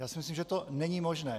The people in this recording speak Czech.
Já si myslím, že to není možné.